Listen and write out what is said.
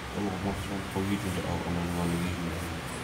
Tomo komwa serkalit ko kichundo au anan ngo nekichundo.